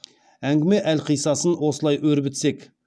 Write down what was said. әңгіме әлқиссасын осылай өрбітсек